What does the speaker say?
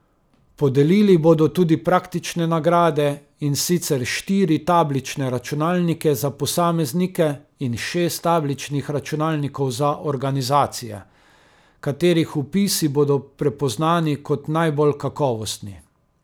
Podelili bodo tudi praktične nagrade, in sicer štiri tablične računalnike za posameznike in šest tabličnih računalnikov za organizacije, katerih vpisi bodo prepoznani kot najbolj kakovostni.